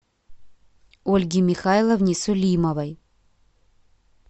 ольге михайловне сулимовой